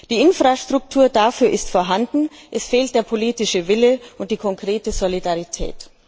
Die Infrastruktur dafür ist vorhanden es fehlen der politische Wille und die konkrete Solidarität.